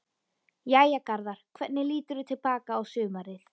Jæja Garðar, hvernig líturðu til baka á sumarið?